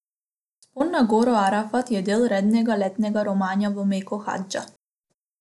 Vzpon na goro Arafat je del rednega letnega romanja v Meko, hadža.